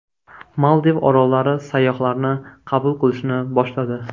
Maldiv orollari sayyohlarni qabul qilishni boshladi.